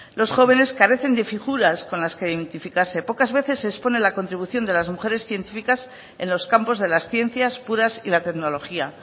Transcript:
los jóvenes carecen de figuras con las que identificarse pocas veces se expone la contribución de las mujeres científicas en los campos de las ciencias puras y la tecnología